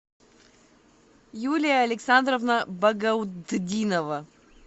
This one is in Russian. юлия александровна багаутдинова